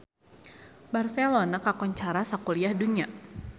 Barcelona kakoncara sakuliah dunya